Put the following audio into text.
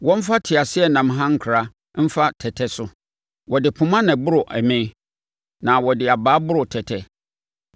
Wɔmfa asaeɛ mpɔ ɛme ho, wɔmfa teaseɛnam hankra mfa tɛtɛ so; wɔde poma na ɛboro ɛme, na wɔde abaa aboro tɛtɛ.